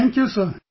Thank You Sir